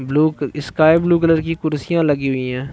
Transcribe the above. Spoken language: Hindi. ब्लू स्काईब्लू कलर की कुर्सिया लगी हुई हैं।